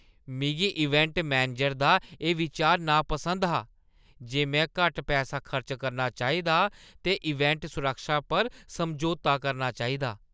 मिगी event manager दा एह् बिचार नापसंद हा जे में घट्ट पैसा खर्च करना चाहिदा ते इवेंट सुरक्षा पर समझौता करना चाहिदा।